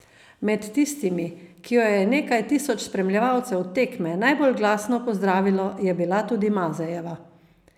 Med tistimi, ki jo je nekaj tisoč spremljevalcev tekme najbolj glasno pozdravilo, je bila tudi Mazejeva.